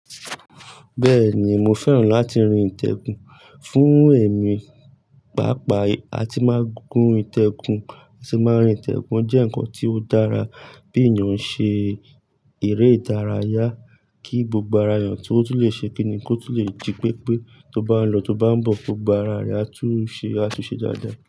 Bẹ́ẹ̀ni mo fẹ́ràn láti rin ìtẹ̀kùn fún èmi, pàápàá a ti máa gún ìtẹ̀kùn, a sì máa rìn ìtẹ̀kùn jẹ́ ǹkan tí ó dára bí ènìyàn ṣe eré ìdárayá kí gbogbo aráyàn tó tún lè ṣe kíni kó tún lè jí pépé, tó bá ń lọ tó bá ń bọ̀ kó gbá ara rẹ̀ á tún ṣe àtúnṣe dáadáa.